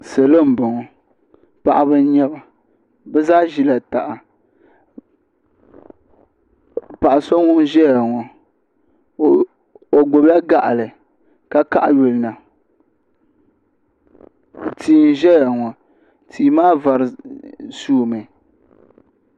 Salo n boŋo paɣaba n nyɛba bi zaa ʒila taha paɣa so ŋun ʒɛya ŋo o gbubila gaɣali ka kaɣa yulina tia n ʒɛya ŋo tia maa vari suumi